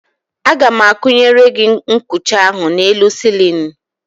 Aga m akwụnyere gị nkucha ahụ n'elu sịlịnụ.